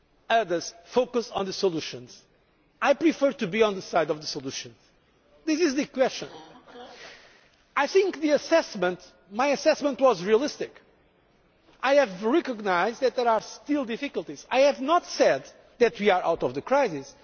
problems. Others focus on the solutions. I prefer to be on the side of the solutions. This is the question. I think my assessment was realistic. I have recognised that there are still difficulties. I have not said that we are out